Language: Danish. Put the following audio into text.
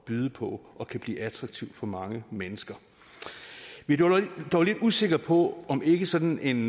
byde på og kan blive attraktive for mange mennesker vi er dog lidt usikre på om ikke sådan en